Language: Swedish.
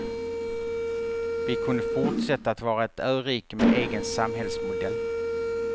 Vi kunde fortsätta att vara ett örike med egen samhällsmodell.